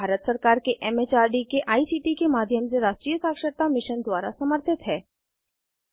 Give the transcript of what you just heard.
यह भारत सरकार के एम एच आर डी के आई सी टी के माध्यम से राष्ट्रीय साक्षरता मिशन द्वारा समर्थित है